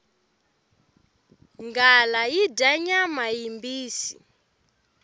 nghala yi dya nyama yimbisi